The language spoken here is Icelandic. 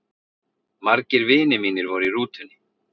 Margir vinir mínir voru í rútunni.